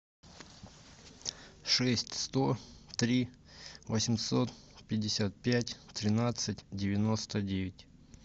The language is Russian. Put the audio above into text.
шесть сто три восемьсот пятьдесят пять тринадцать девяносто девять